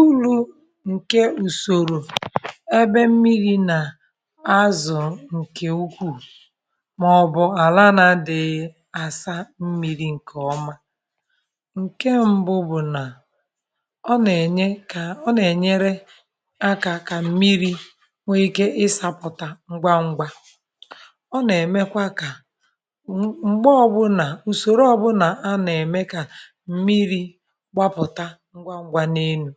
Uru̇ ǹke ùsòrò ebe mmiri̇ nà azụ̀ ǹkè ukwuù màọbụ̀ àlanà dị̀ ya àsa mmiri̇ ǹkè ọma ǹke m̀bụ bụ̀ nà ọ nà-ènye kà ọ nà-ènyere akà kà m̀miri̇ nwee ike isàpụ̀ta ngwangwa ọ nà-èmekwa kà m̀gbe ọbụlà ùsòro ọbụlà a nà-ème kà m̀miri̇ gbapụ̀ta ngwa ngwa n' elu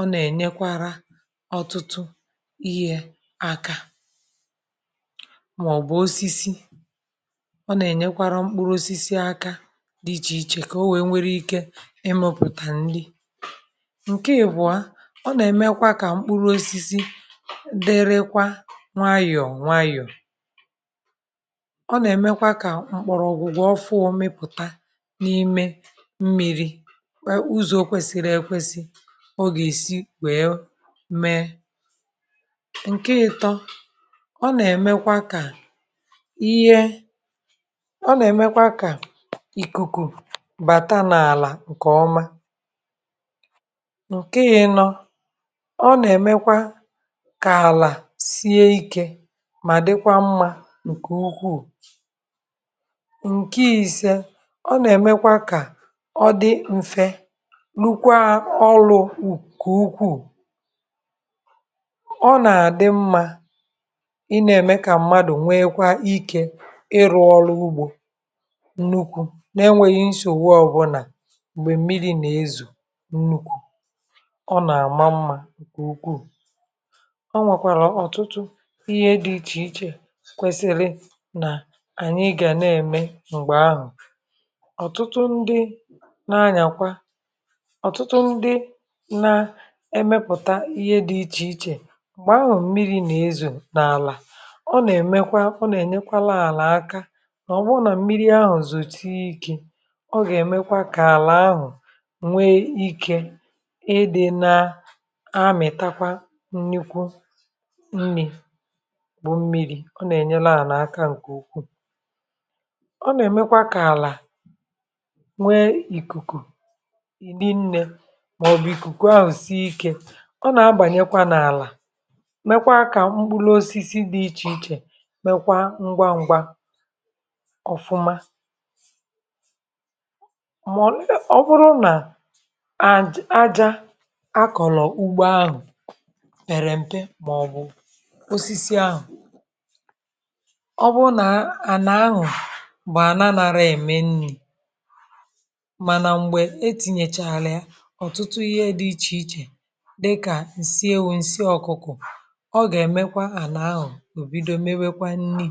ọ nà-ènyekwara ọtụtụ ihe akȧ màọ̀bụ̀ osisi ọ nà-ènyekwara mkpụrụ osisi aka dị ichè ichè kà o nwèe nwere ike imepụ̀tà nrị. Nke ị buo ọ nà-èmekwa kà mkpụrụ osisi derekwa nwayọ̀ọ̀ nwayọ̀ọ̀ ọ nà-èmekwa kà mkpọ̀rọ̀ ọ̀gwụ̀gwọ ọ fụọ mmịpụ̀ta n’ime mmiri̇ ụzọ kwesịrị ekwesị oga esi wee mee. Nke ịtọ ọ nà-èmekwa kà ihe ọ nà-èmekwa kà ìkùkù bàta n’àlà ǹkè ọma. Nke ịnọ, ọ nà-èmekwa kà àlà sie ikė mà dịkwa mmȧ ǹkè ukwuu. Nke ìse, ọ nà-èmekwa kà ọ dị mfė rụkwa ọrụ nke ukwuu. Nke ọ nà-àdị mmȧ ị na-ème kà mmadù nwee kwa ike ịrụ̇ ọrụ ugbȯ nnukwu̇ na e nwèghị nsogbụ ọbụlà m̀gbè mmiri̇ nà-ezù nnukwu̇ ọ nà-àma mmȧ èkè ukwuù ọ nwèkwàrà ọ̀tụtụ ihe dị ichè ichè kwesili nà ànyị gà na-ème m̀gbè ahụ̀ ọ̀tụtụ ndị na-anyàkwa ọtụtụ ndị na emepụ̀ta ihe dị ichè ichè m̀gbè ahụ̀ mmiri nà-ezù n’àlà ọ nà-èmekwa ọ nà-ènyekwa laàlà aka mà ọ̀ bụ nà mmiri ahụ̀ zosie ike ọ gà-èmekwa kà àlà ahụ̀ nwe ikė ị dị na amìtakwa nnukwu nri kpụ̀ mmiri̇ ọ nà-ènyela à n’aka ǹkè ukwuù ọ nà-èmekwa kà àlà nwe ìkùkù rinne ma ọ bụ ikuku ahụ sie ike ọ nà-agbànyekwa n’àlà mekwaa kà mkpụrụ osisi dị̇ ichè ichè mekwa ngwa ngwa ọ̀fụma [ụmụ] ọ̀bụrụ nà aja akọ̀lọ̀ ugbo ahụ̀ pèrè m̀pe màọbụ̇ osisi ahụ̀ ọ bụrụ nà ànà ahụ̀ bụ̀ àna narị ème nri̇ mànà m̀gbè etìnyèchà àlà ya ọtụtụ ihe dị iche iche dika ǹsị ewu, ǹsị ọkụkọ̀ ọ gà-emekwa ànà ahụ̀ ò bido mewekwa nni.